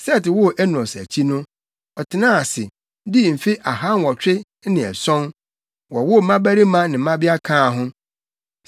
Set woo Enos akyi no, ɔtenaa ase, dii mfe ahanwɔtwe ne ason, wowoo mmabarima ne mmabea kaa ho.